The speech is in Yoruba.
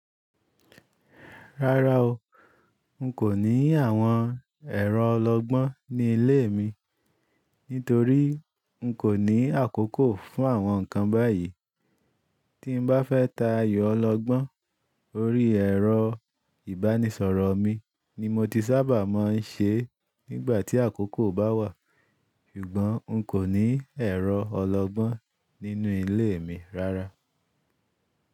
Rárá o, n kò ní àwọn ẹ̀rọ ọlọgbọ́n ní ilé mi nítorí n kò ní àkókò fún àwọn ǹkan báyìí. Tí n bá fẹ́ ta ayò ọlọgbọ́n, orí ẹ̀rọ ìbánisọ̀rọ̀ mi ni mo ti sábà mọ́ ń ṣe nígbà tí àkókò bá wà. Ṣùgbọ́n n kò ní ẹ̀rọ ọlọgbọ́n nínú ilé mi rárá.